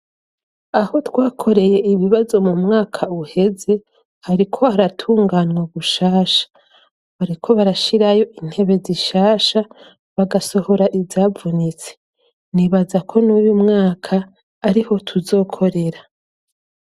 Aho twakoreye ibibazo mu mwaka uheze, hari ko aratunganwa gushasha, boriko barashirayo intebe zishasha ,bagasohora izavunitse, nibaza ko n'uyu mwaka ariho tuzokorera.